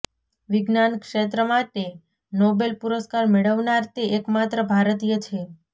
વિજ્ઞાનક્ષેત્ર માટે નોબેલ પુરસ્કાર મેળવનાર તે એકમાત્ર ભારતીય છે